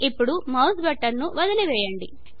ఇప్పుడు mouse button ను వదిలివేయండి